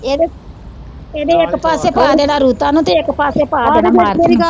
ਇਦੇ, ਇਦੇ ਇੱਕ ਪਾਸੇ ਪਾ ਦੇੇਣਾ ਰੁਤਾ ਨੂੰ ਤੇ ਇੱਕ ਪਾਸੇ ਪਾ ਦੇਣਾ ਮਾਰੂਤੀ ਨੂੂੰ ।